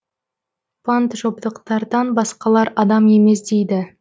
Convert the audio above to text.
панджобтықтардан басқалар адам емес дейді